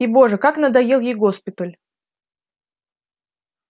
и боже как надоел ей госпиталь